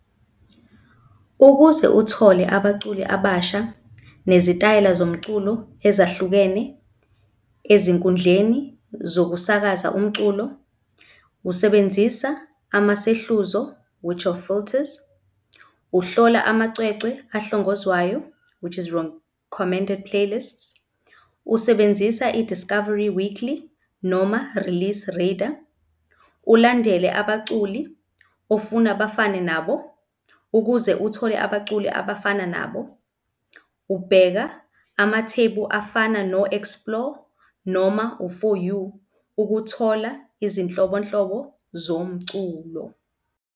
Ukuze uthole abaculi abasha nezitayela zomculo ezahlukene ezinkundleni zokusakaza umculo usebenzisa amasehluzo which are filters, uhlola amacwecwe ahlongozwayo which is recommended playlists, usebenzisa i-Discovery Weekly noma Release Radar, ulandele abaculi ofuna bafane nabo, ukuze uthole abaculi abafana nabo ubheka amathebu afana no-Explore noma u-For You ukuthola izinhlobonhlobo zomculo.